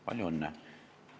Palju õnne!